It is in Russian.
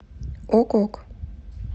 ок ок